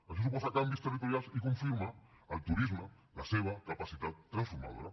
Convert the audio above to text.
això suposa canvis territorials i confirma al turisme la seva capacitat transformadora